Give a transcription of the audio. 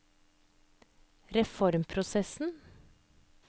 reformprosessen